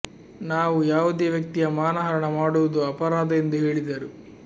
ನಾವು ಯಾವುದೇ ವ್ಯಕ್ತಿಯ ಮಾನ ಹರಣ ಮಾಡುವುದು ಅಪರಾಧ ಎಂದು ಹೇಳಿದರು